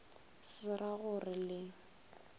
se ra go re le